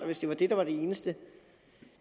hvis det var det der var det eneste